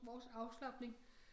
Vores afslapning